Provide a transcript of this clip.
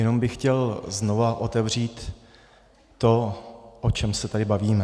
Jenom bych chtěl znovu otevřít to, o čem se tady bavíme.